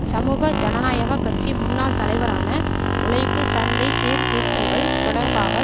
சமூக ஜனநாயக கட்சி முன்னாள் தலைவரான உழைப்பு சந்தை சீர்திருத்தங்கள் தொடர்பாக